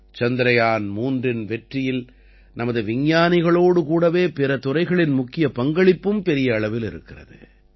சந்திரயான் மூன்றின் வெற்றியில் நமது விஞ்ஞானிகளோடு கூடவே பிற துறைகளின் முக்கிய பங்களிப்பும் பெரிய அளவில் இருக்கிறது